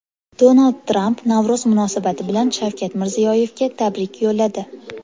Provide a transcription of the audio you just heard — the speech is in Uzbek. Donald Tramp Navro‘z munosabati bilan Shavkat Mirziyoyevga tabrik yo‘lladi.